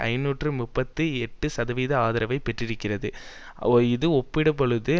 ஐநூற்று முப்பத்தி எட்டு சதவீத ஆதரவை பெற்றிருக்கிறது இது ஒப்பிட்டபொழுது